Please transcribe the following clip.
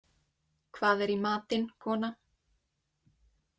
Hvað er í matinn, kona?